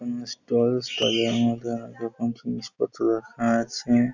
সমানে stall stall আমাদের দোকান কিছু জিনিসপত্র রাখা আছে।